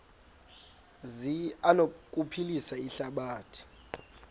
zi anokuphilisa ihlabathi